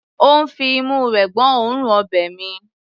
Ó ń fi imú rẹ̀ gbọ́ òórùn ọbẹ̀ mi.